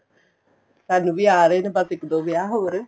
ਸਾਨੂੰ ਵੀ ਆ ਰਹੇ ਨੇ ਬੱਸ ਇੱਕ ਦੋ ਵਿਆਹ ਹੋਰ